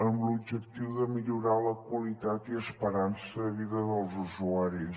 amb l’objectiu de millorar la qualitat i esperança de vida dels usuaris